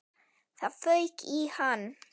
Það fauk í hann.